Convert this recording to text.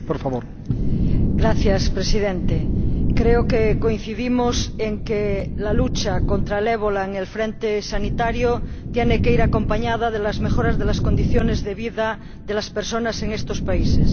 Señor Presidente, creo que coincidimos en que la lucha contra el ébola en el frente sanitario tiene que ir acompañada de las mejoras de las condiciones de vida de las personas en estos países.